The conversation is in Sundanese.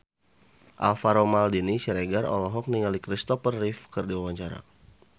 Alvaro Maldini Siregar olohok ningali Christopher Reeve keur diwawancara